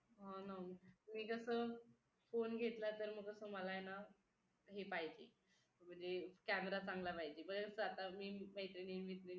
हा ना मी कसं phone घेतला तर मग मला कसं हे पाहिजे म्हणजे camera चांगला पाहिजे बरेचदा आता मी मैत्रिणी